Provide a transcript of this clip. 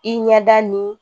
I ɲɛda ni